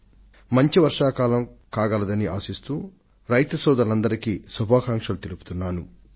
తగినంత వర్షపాతం ఉండాలని ఆశిస్తూ మన రైతు సోదరులందరికీ శుభాకాంక్షలు తెలియజేస్తున్నాను